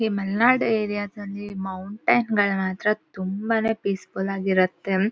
ಆ ತರ ಪ್ಲೇಸ್ ನೋಡೋದಕ್ಕೆ ಎಷ್ಟು ಚಂದಾ.